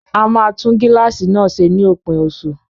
A máa tún gíláàsì náà ṣe ní òpin oṣù